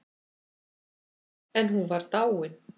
En hún var dáin.